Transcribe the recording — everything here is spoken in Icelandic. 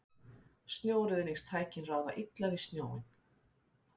Snjóruðningstækin ráða illa við snjóinn